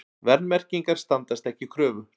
Verðmerkingar standast ekki kröfur